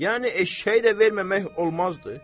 Yəni eşşəyi də verməmək olmazdı?